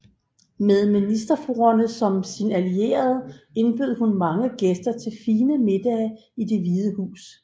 Med ministerfruerne som sine allierede indbød hun mange gæster til fine middage i Det hvide Hus